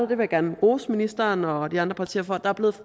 vil gerne rose ministeren og de andre partier for at der er blevet